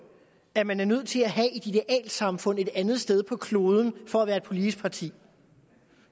at man er nødt til at have et idealsamfund et andet sted på kloden for at være et politisk parti